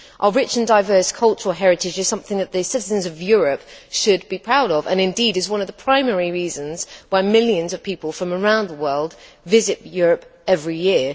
Our rich and diverse cultural heritage is something that the citizens of Europe should be proud of and, indeed, is one of the primary reasons why millions of people from around the world visit Europe every year.